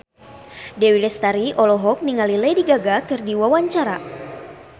Dewi Lestari olohok ningali Lady Gaga keur diwawancara